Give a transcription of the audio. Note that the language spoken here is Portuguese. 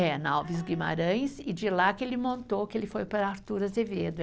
É, na Alves Guimarães, e de lá que ele montou, que ele foi para Arthur Azevedo.